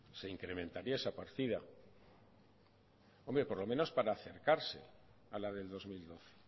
se incrementaría esa partida por lo menos para acercarse a la del dos mil doce